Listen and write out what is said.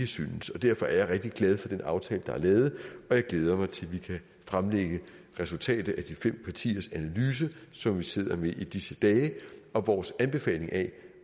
synes om derfor er jeg rigtig glad for den aftale der er lavet og jeg glæder mig til vi kan fremlægge resultatet af de fem partiers analyse som vi sidder med i disse dage og vores anbefaling af